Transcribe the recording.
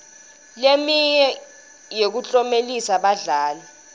leminye yekuklomelisa badlali